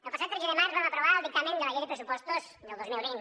el passat tretze de març vam aprovar el dictamen de la llei de pressupostos del dos mil vint